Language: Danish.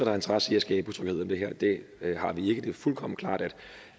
har interesse i at skabe utryghed om det her det har vi ikke det er fuldkommen klart